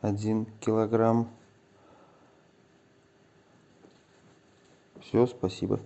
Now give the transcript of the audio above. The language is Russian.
один килограмм все спасибо